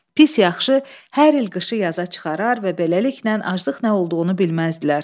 Pis yaxşı hər il qışı yaza çıxarar və beləliklə aclıq nə olduğunu bilməzdilər.